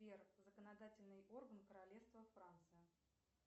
сбер законодательный орган королевства франция